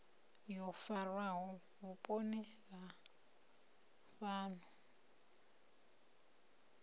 yo farwaho vhuponi ha fhano